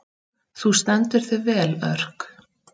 Þú stendur þig vel, Örk!